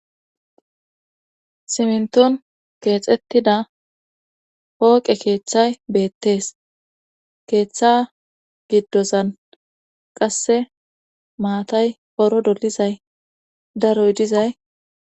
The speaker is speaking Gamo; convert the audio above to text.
Simnton keexettida hooqe keeththay beettees keeththa giddozan qasse maatay poro dolizay daroy dizay